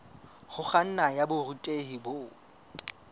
ho kganna ya borutehi bo